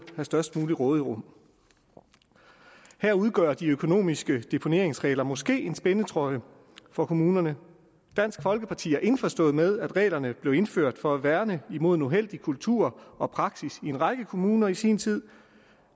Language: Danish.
have størst muligt råderum her udgør de økonomiske deponeringsregler måske en spændetrøje for kommunerne dansk folkeparti er indforstået med at reglerne blev indført for at værne mod en uheldig kultur og praksis i en række kommuner i sin tid